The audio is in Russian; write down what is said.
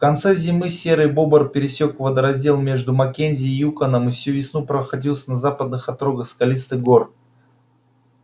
в конце зимы серый бобр пересёк водораздел между маккензи и юконом и всю весну проохотился на западных отрогах скалистых гор